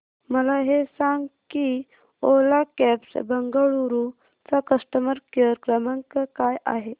मला हे सांग की ओला कॅब्स बंगळुरू चा कस्टमर केअर क्रमांक काय आहे